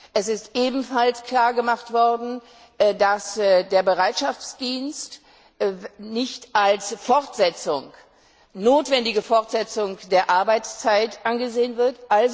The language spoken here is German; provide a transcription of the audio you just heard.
Es ist ebenfalls klar gemacht worden, dass der Bereitschaftsdienst nicht als notwendige Fortsetzung der Arbeitszeit angesehen wird.